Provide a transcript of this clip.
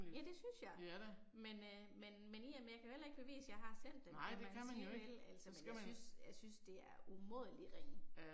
Ja det synes jeg. Men øh, men men i og med jeg kan jo heller ikke bevise jeg har sendt dem som man kan sige vel, altså men jeg synes jeg synes det er umådelig ringe